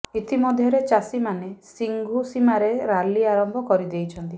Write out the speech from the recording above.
ଇତିମଧ୍ୟରେ ଚାଷୀମାନେ ସିଂଘୁ ସୀମାରେ ରାଲି ଆରମ୍ଭ କରି ଦେଇଛନ୍ତି